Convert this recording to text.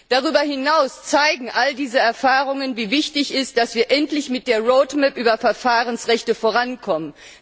Darüber hinaus zeigen all diese Erfahrungen, wie wichtig es ist, dass wir endlich mit der roadmap zu Verfahrensrechten vorankommen.